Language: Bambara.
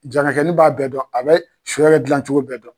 Jarakɛnin b'a bɛɛ dɔn, a bɛ sɔ yɛrɛ dilancogo bɛɛ dɔn.